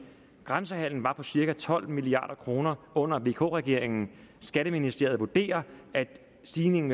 grænsehandelen var på cirka tolv milliard kroner under vk regeringen skatteministeriet vurderer at stigningen